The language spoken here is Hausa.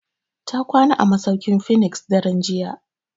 Ta kwana a masauki'n phoenix daren jiya.